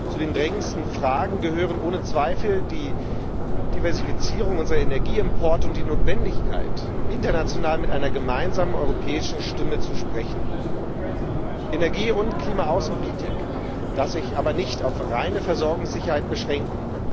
Zu den drängendsten Fragen gehören ohne Zweifel die Diversifizierung unserer Energieimporte und die Notwendigkeit, international mit einer gemeinsamen europäischen Stimme zu sprechen. Energie und Klima Außenpolitik darf sich aber nicht auf reine Versorgungssicherheit beschränken.